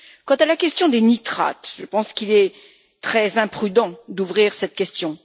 Quant à la question des nitrates, je pense qu'il est très imprudent d'ouvrir cette question.